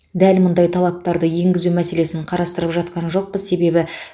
дәл мұндай талаптарды енгізу мәселесін қарастырып жатқан жоқпыз